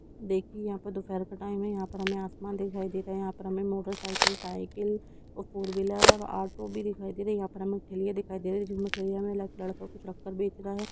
देखिये यहाँ दोपहर का टाइम है यहाँ पर हमें आसमान दिखाई दे रहा है यहाँ पर मोटरसाइकिल साइकिल और फोर व्हीलर और ऑटो भी दिखाई दे रहा है यहाँ पे हमें ठेलियाँ दिखाई दे रही है जिन ठेलीयों में एक लड़का कुछ रख कर बेच रहा है।